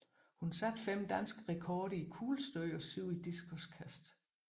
Hun satte fem danske rekorder i kuglestød og syv i diskoskast